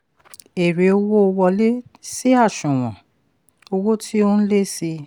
èrè owó wọlé sí àṣùwọ̀n owó tí ó n lé sí i.